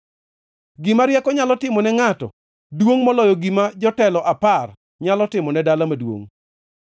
Gima rieko nyalo timo ne ngʼato duongʼ moloyo gima jotelo apar nyalo timo ne dala maduongʼ.